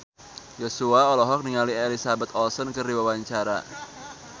Joshua olohok ningali Elizabeth Olsen keur diwawancara